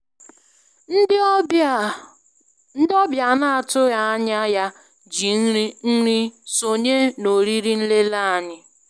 Ndị ọbịa a na-atụghị anya ya ji nri nri sonye na oriri nlele anyị.